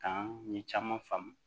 Kan ye caman faamu